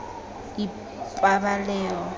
ipabaleo